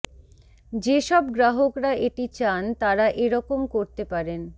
যে সব গ্রাহকরা এটি চান তারা এরকম করতে পারেন